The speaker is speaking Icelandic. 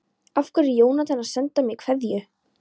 Af hverju er Jónatan að senda mér kveðju?